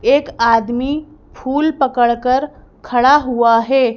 एक आदमी फुल पकड़कर खड़ा हुआ है।